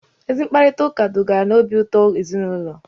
Ezi mkparịtaụka dugara n'obi ụtọ n'ezinụlọ